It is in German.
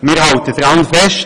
Wir halten daran fest: